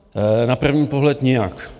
Na první pohled nijak.